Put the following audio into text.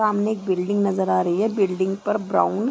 सामने एक बिल्डिंग नजर आ रही है बिल्डिंग पर ब्राउन --